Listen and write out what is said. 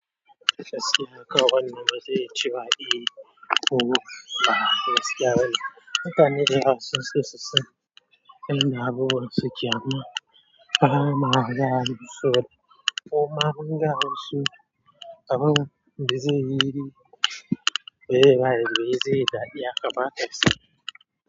Gaskiya wannan ba gaskiya bane mutane dayawa sun so susani ya abubuwan suke amma bama gaya musu koma munfada musu abun bazaiyi dadi haka ba.